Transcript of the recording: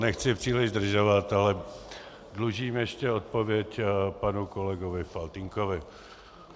Nechci příliš zdržovat, ale dlužím ještě odpověď panu kolegovi Faltýnkovi.